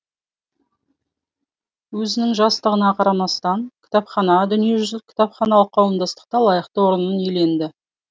өзінің жастығына қарамастан кітапхана дүниежүзілік кітапханалық қауымдастықта лайықты орнын иеленді